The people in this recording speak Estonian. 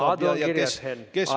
Aadu on juba kirjas, Henn.